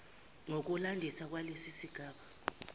ngokulandisa kwalesi sigaba